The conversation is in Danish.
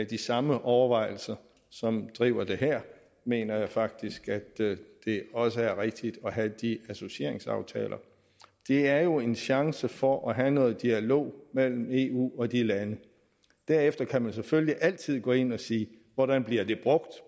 de samme overvejelser som driver det her mener jeg faktisk at det også er rigtigt at have de associeringsaftaler det er jo en chance for at have noget dialog mellem eu og de lande derefter kan man selvfølgelig altid gå ind og sige hvordan bliver det brugt